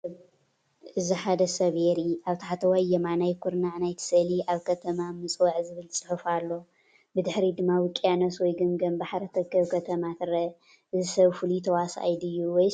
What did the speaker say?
እዚ ሓደ ሰብ የርኢ። ኣብ ታሕተዋይ የማናይ ኩርናዕ ናይቲ ስእሊ "ኣብ ከተማ ምፅወዕ" ዝብል ጽሑፍ ኣሎ። ብድሕሪት ድማ ውቅያኖስ ወይ ገማግም ባሕሪ እትርከብ ከተማ ትርአ። እዚ ሰብ ፍሉይ ተዋሳኣይ ድዩ ወይስ ፍሉጥ ሰብ?